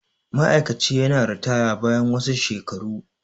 ma'aikaci yana ritaya bayan wasu shelaru